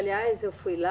Aliás, eu fui lá.